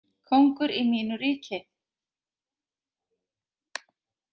Kóngur í mínu ríki.